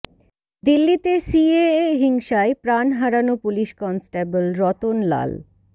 দিল্লিতে সিএএ হিংসায় প্রাণ হারানো পুলিশ কনস্টেবল রতন লাল